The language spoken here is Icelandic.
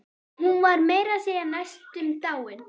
Hún var meira að segja næstum dáin.